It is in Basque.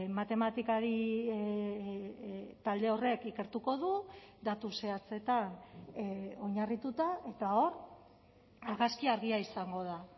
matematikari talde horrek ikertuko du datu zehatzetan oinarrituta eta hor argazkia argia izango da